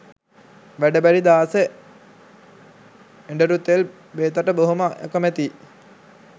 වැඩ බැරි දාස එඬරු තෙල් බේතට බොහොම අකැමැතියි